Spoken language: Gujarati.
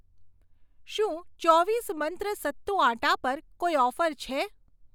શું ચોવીસ મંત્ર સત્તુ આટ્ટા પર કોઈ ઓફર છે?